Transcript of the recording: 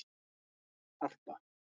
Harpa